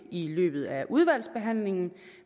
i løbet af udvalgsbehandlingen